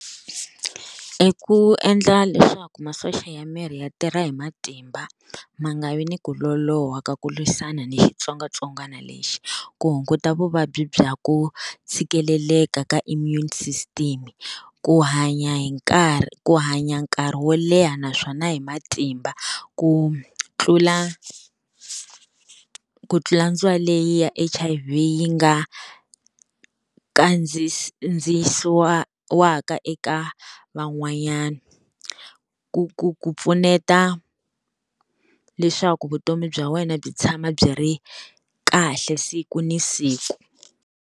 I ku endla leswaku masocha ya miri ya tirha hi matimba ma nga vi ni ku loloha ka ku lwisana ni xitsongwatsongwana lexi. Ku hunguta vuvabyi bya ku tshikeleleka ka immune system, ku hanya hi nkarhi ku hanya nkarhi wo leha naswona hi matimba, ku tlula ku tlula leyi ya H_I_V yi nga kandziyisiwaka eka van'wanyana ku ku ku pfuneta leswaku vutomi bya wena byi tshama byi ri kahle siku na siku.